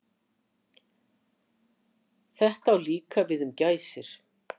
Þetta á líka við um gæsir.